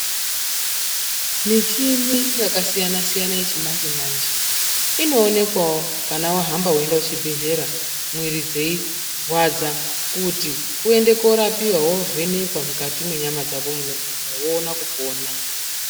Michini yakasiyana siyana yechimanje manje inoonekwawo kana wahamba weienda kuchibhedhleya mwiri dzeirwadza. Kuti uende koorapiwa weivhenekwa mukati mwenyama dzako munorwadza woona kupona.